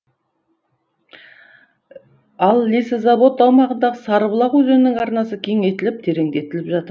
ал лесозавод аумағындағы сарыбұлақ өзенінің арнасы кеңейтіліп тереңдетіліп жатыр